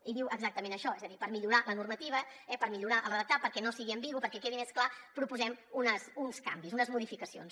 hi diu exactament això és a dir per millorar la normativa per millorar el redactat perquè no sigui ambigu perquè quedi més clar proposem uns canvis unes modificacions